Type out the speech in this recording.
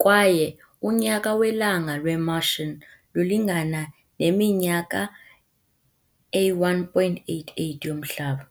kwaye unyaka welanga lwe-Martian ulingana neminyaka eyi-1.88 yoMhlaba.